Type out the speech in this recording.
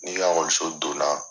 N'i ka ɔkɔliso don na.